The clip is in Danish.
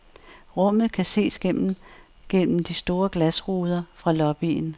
Rummet kan ses gennem gennem de store glasruder fra lobbyen.